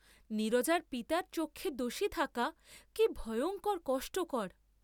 নীরজার পিতার চক্ষে দোষী থাকা কি ভয়ঙ্কর কষ্টকর।